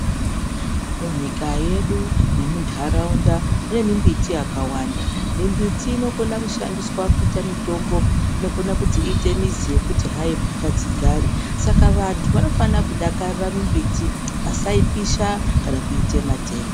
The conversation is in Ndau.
Munyika yedu nemuntaraunda mune mimbiti yakawanda, mimbiti inokona kushandiswa kuita mitombo, inokona kuti iite mizi yekuti hai mbuka dzigare Saka vantu vanofanira kudakarira mimbiti vasaipisha kana kuitema tema.